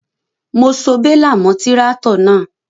Mo so bélà mọ́ tíráátọ̀ náà.